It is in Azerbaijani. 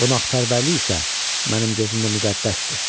Qonaqpərvərlik isə mənim gözümdə müqəddəsdir.